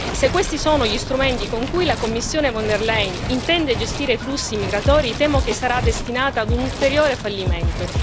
Se questi sono gli strumenti con cui la Commissione von der Leyen intende gestire i flussi migratori, temo che sarà destinata ad un ulteriore fallimento.